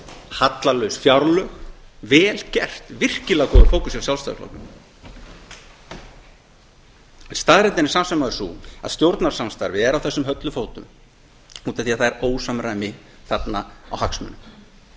hallalaus fjárlög vel gert virkilega góður fókus hjá sjálfstæðisflokknum staðreyndin er samt sem áður sú að stjórnarsamstarfið er á þessum höllum fótum út af því að það er ósamræmi þarna á